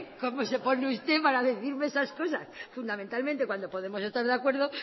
como se pone usted para decirme esas cosas fundamentalmente cuando podemos estar de acuerdo